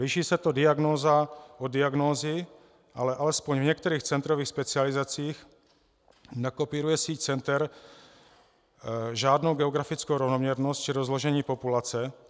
Liší se to diagnóza od diagnózy, ale alespoň v některých centrových specializacích nekopíruje síť center žádnou geografickou rovnoměrnost či rozložení populace.